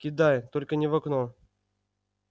кидай только не в окно